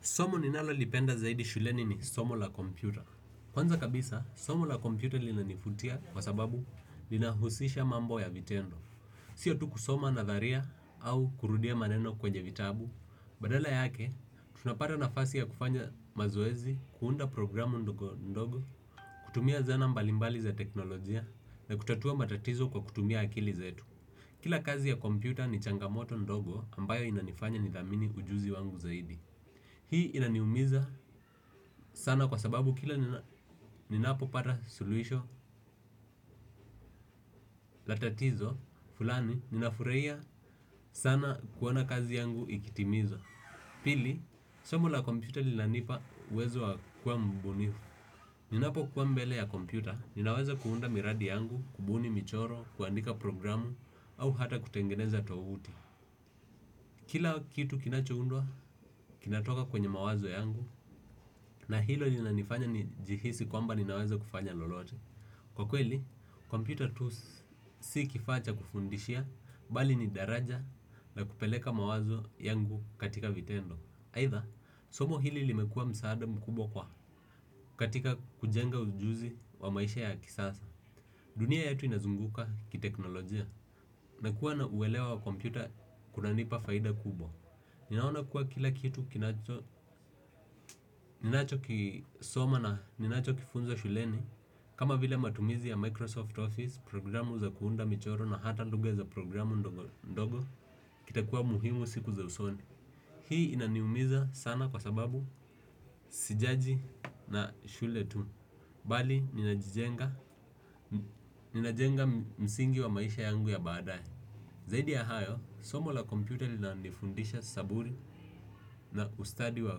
Somo ninalolipenda zaidi shuleni ni somo la kompyuta. Kwanza kabisa, somo la kompyuta linanivutia kwa sababu linahusisha mambo ya vitendo. Sio tu kusoma nadharia au kurudia maneno kwenye vitabu. Badala yake, tunapata nafasi ya kufanya mazoezi, kuunda programu ndogo, kutumia zana mbalimbali za teknolojia na kutatua matatizo kwa kutumia akili zetu. Kila kazi ya kompyuta ni changamoto ndogo ambayo inanifanya nidhamini ujuzi wangu zaidi. Hii inaniumiza sana kwa sababu kila ninapopata suluisho, la tatizo, fulani, ninafurahia sana kuona kazi yangu ikitimizwa. Pili, somu la kompyuta linanipa uwezo wa kuwa mbunifu. Ninapokuwa mbele ya kompyuta, ninaweza kuunda miradi yangu, kubuni michoro, kuandika programu, au hata kutengeneza tovuti. Kila kitu kinachoundwa, kinatoka kwenye mawazo yangu, na hilo linanifanya nijihisi kwamba ninaweza kufanya lolote. Kwa kweli kompyuta si tu kifaa cha kufundishia bali ni daraja ya kupeleka mawazo yangu katika vitendo aidha somo hili limekuwa msaada mkubwa katika kujenga ujuzi wa kisasa. Dunia yetu inazunguka ki teknolojia na kuwa na uwelewa wa computer kunanipa faida kubwa. Ninaona kuwa kila kitu kinacho, ninacho kisoma na ninacho kifunza shuleni. Kama vile matumizi ya Microsoft Office, programu za kuunda michoro na hata lugha za programu ndogo, kitakua muhimu siku za usoni. Hii inaniumiza sana kwa sababu sijaji na shule tu. Bali, ninajenga msingi wa maisha yangu ya baadae. Zaidi ya hayo, somo la computer linanifundisha saburi na ustadi wa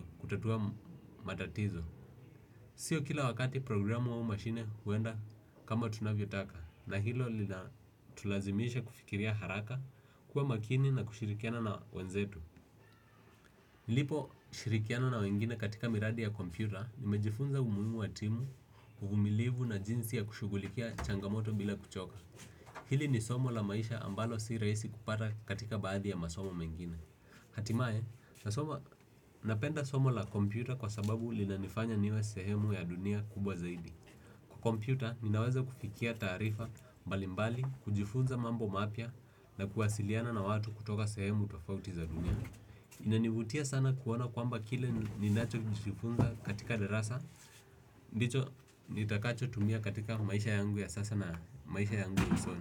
kutatua matatizo. Sio kila wakati programu au mashine huenda kama tunavyotaka na hilo linatulazimisha kufikiria haraka kuwa makini na kushirikiana na wenzetu. Niliposhirikiana na wengine katika miradi ya kompyuta nimejifunza umuhimu wa timu, uvumilivu na jinsi ya kushughulikia changamoto bila kuchoka. Hili ni somo la maisha ambalo si rahisi kupata katika baadhi ya masomo mengine. Hatimaye, napenda somo la kompyuta kwa sababu linanifanya niwe sehemu ya dunia kubwa zaidi. Kompyuta, ninaweza kufikia taarifa mbalimbali, kujifunza mambo mapya na kuwasiliana na watu kutoka sehemu tofauti za dunia. Inanivutia sana kuona kwamba kile ninachojifunza katika darasa. Ndicho, nitakacho tumia katika maisha yangu ya sasa na maisha yangu ya usoni.